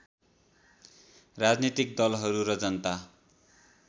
राजनीतिक दलहरू र जनता